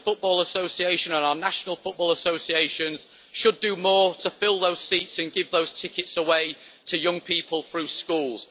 The Football Association and our national football associations should do more to fill those seats and give those tickets away to young people through schools.